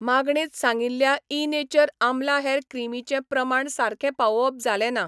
मागणेंत सांगिल्ल्या इनेचर आमला हॅर क्रीमीचें प्रमाण सारखें पावोवप जालें ना.